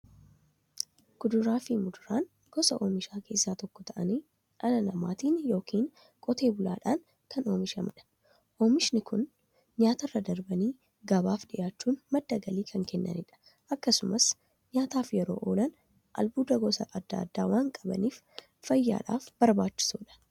Kuduraafi muduraan gosa oomishaa keessaa tokko ta'anii, dhala namaatin yookiin Qotee bulaadhan kan oomishamaniidha. Oomishni Kunis, tajaajila nyaataf kan oolaniifi nyaatarra darbanii gabaaf dhiyaachuun madda galii kan kennaniidha. Akkasumas nyaataf yeroo oolan, albuuda gosa adda addaa waan qabaniif, fayyaaf barbaachisoodha.